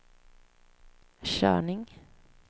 körning